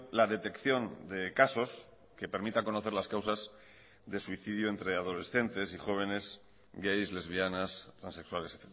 la detección de casos que permita conocer las causas de suicidio entre adolescentes y jóvenes gays lesbianas transexuales